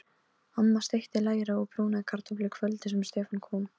Amma steikti læri og brúnaði kartöflur kvöldið sem Stefán kom.